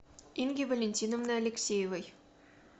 инги валентиновны алексеевой